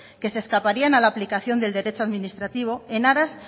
que se escaparían a la aplicación del derecho administrativa en aras